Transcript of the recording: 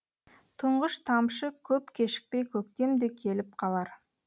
тұңғыш тамшыкөп кешікпей көктем де келіп қалар